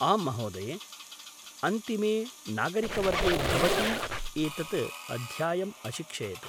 आम्, महोदये। अन्तिमे नागरिकवर्गे भवती एतत् अध्यायम् अशिक्षयत्।